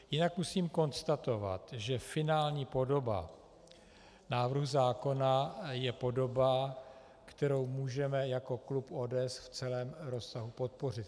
Jinak musím konstatovat, že finální podoba návrhu zákona je podoba, kterou můžeme jako klub ODS v celém rozsahu podpořit.